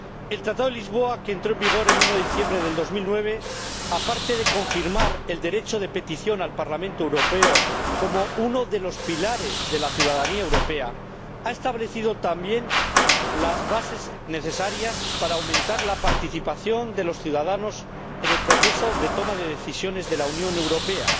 El Tratado de Lisboa, que entró en vigor el 1 de diciembre de 2009, aparte de confirmar el derecho de petición al Parlamento Europeo como uno de los pilares de la ciudadanía europea, ha establecido también las bases necesarias para aumentar la participación de los ciudadanos en el proceso de toma de decisiones de la Unión Europea,